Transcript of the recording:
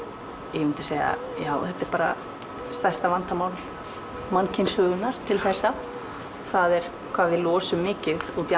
ég myndi segja stærsta vandamál mannkynssögunnar til þessa það er hvað við losum mikið út í